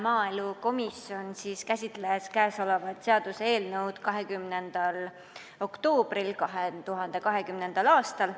Maaelukomisjon käsitles kõnesolevat seaduseelnõu 20. oktoobril 2020. aastal.